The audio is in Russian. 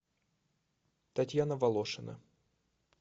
татьяна волошина